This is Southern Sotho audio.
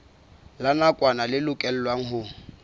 la nakwana le lokelwang ho